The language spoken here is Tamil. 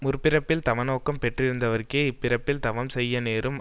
முற்பிறப்பில் தவ நோக்கம் பெற்றிருந்தவர்க்கே இப்பிறப்பில் தவம் செய்ய நேரும்